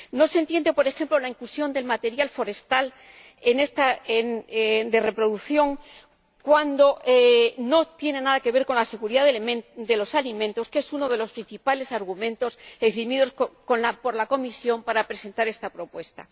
No se entiende, por ejemplo, la inclusión del material forestal de reproducción cuando no tiene nada que ver con la seguridad de los alimentos, que es uno de los principales argumentos esgrimidos por la Comisión para presentar esta propuesta.